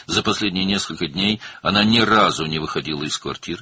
Son bir neçə gündə o, heç vaxt mənzillərindən çıxmamışdı.